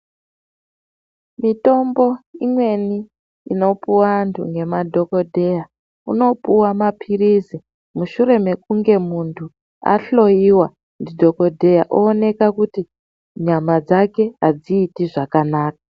Mitombo imweni inopiwa vantu ngemadhokodheya unopiwa mapilizi mushure mekunge muntu ahloyiwa nemadhokodheya oonekwa kuti nyama dzake hadziti zvakanaka.